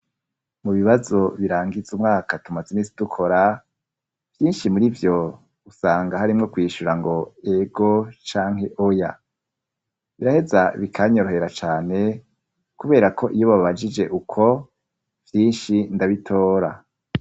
Mu bibazo birangiza umwaka tumaze iminsi dukora, vyinshi muri vyo usanga harimwo kwishura ngo ego canke oya; biraheza bikanyorohera cane kubera ko iyo babajije uko vyinshi ndabitora.